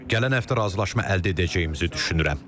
Gələn həftə razılaşma əldə edəcəyimizi düşünürəm.